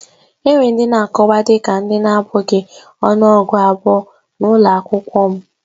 Enwere ndị na-akọwa dị ka ndị na-abụghị ọnụọgụ abụọ na ụlọ akwụkwọ m